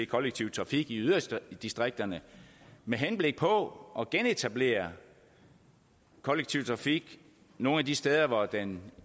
kollektive trafik i yderdistrikterne med henblik på at genetablere kollektiv trafik nogle af de steder hvor den